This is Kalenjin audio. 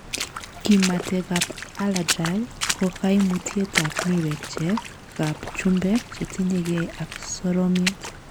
Kimaketab allagile ko kaimutiet ab miwekchek ap chumbek chetinye gei ak soromiet.